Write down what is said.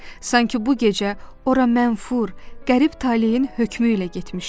Sanki bu gecə ora mənfur, qərib taleyin hökmü ilə getmişdim.